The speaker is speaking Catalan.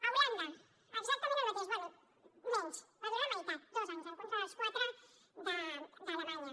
a holanda exactament el mateix bé menys va durar la meitat dos anys en contra dels quatre d’alemanya